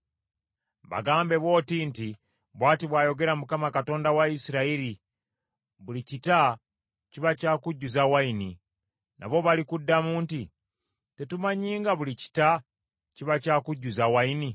“Bagambe bw’oti nti, ‘Bw’ati bw’ayogera Mukama Katonda wa Isirayiri, buli kita kiba kya kujjuza nvinnyo.’ Nabo balikuddamu nti, ‘Tetumanyi nga buli kita kiba kya kujjuza nvinnyo?’